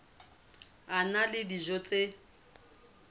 a na le dijo tse